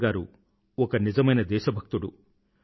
అటల్ గారు ఒక నిజమైన దేశభక్తుడు